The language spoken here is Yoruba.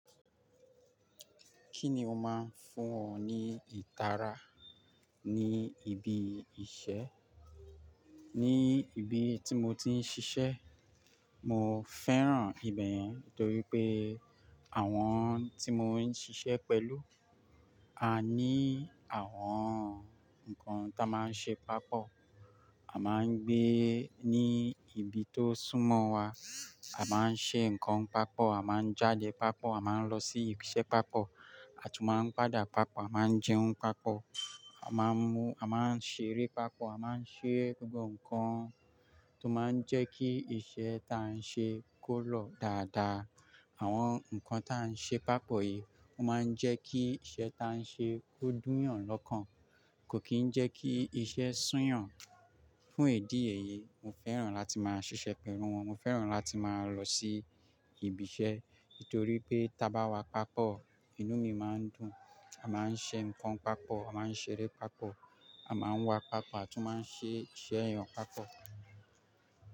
Kí ni ó máa ń fún ọ ní ìtara ní ibi iṣẹ́? Ní ibi tí mo ti ń ṣiṣẹ́, mo fẹ́ràn ibẹ̀ yẹn torí pé àwọn tí mo ń ṣiṣẹ́ pẹ̀lú a ní àwọn nǹkan tá a máa ń ṣe papọ̀. A máa ń gbé ní ibi tó súnmọ́ wa, a máa ń ṣe nǹkan papọ̀, a máa ń jáde papọ̀, a máa ń lọ sí ibi iṣẹ́ papọ̀, a tún máa ń padà papọ̀, a máa ń jẹun papọ̀, a máa ń mú-- a máa ń ṣeré papọ̀, a máa ń ṣe gbogbo nǹkan tó máa ń jẹ́ kí iṣẹ́ ta a ń ṣe kó lọ̀ dáadáa. Àwọn nǹkan tá a ń ṣe papọ̀ yìí ó máa ń jẹ́ kí iṣẹ́ ta a ń ṣe kó dùn yàn lọ́kàn, kò kì í jẹ́ kí iṣẹ́ sùn yàn. Fún ìdí èyí, mo fẹ́ràn láti máa ṣiṣẹ́ pẹ̀lú wọn, mo fẹ́ràn láti máa lọ sí ibi iṣẹ́ torí pé tí a bá wá papọ̀, inú mi máa ń dùn. A máa ń ṣe nǹkan papọ̀, a máa ń ṣeré papọ̀, a máa ń wà papọ̀, a tún máa ń ṣe iṣẹ́ eeyan ọ̀ papọ̀.